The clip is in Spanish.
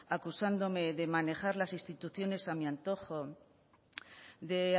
acusándome de manejar las instituciones a mi antojo de